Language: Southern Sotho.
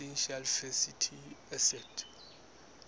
essential fatty acids